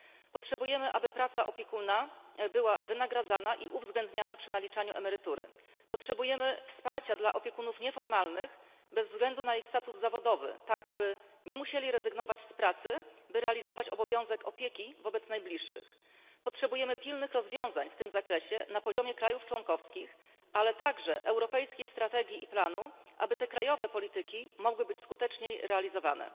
Potrzebujemy wynagrodzenia za pracę opiekuna i uwzględniania tej pracy przy naliczaniu emerytury. Potrzebujemy wsparcia dla opiekunów nieformalnych bez względu na ich status zawodowy, aby nie musieli rezygnować z pracy w celu pełnienia obowiązku opieki wobec najbliższych. Potrzebujemy pilnych rozwiązań w tym zakresie na poziomie państw członkowskich, a także europejskiej strategii i planu, aby krajowe polityki mogły być skuteczniej realizowane.